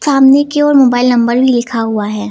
सामने की ओर मोबाइल नंबर भी लिखा हुआ है।